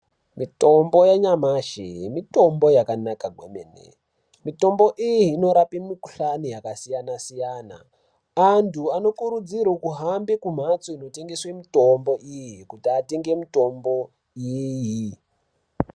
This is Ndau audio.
Mitombo yanyamashi mitombo yakanaka kwemene. Mitombo iyi inorapa mikhuhlana yakasiyana siyana. Antu anokuridzirwa kuhamba kumhatso inotengesa mutombo iyi kuti atenge mitombo iyiyi.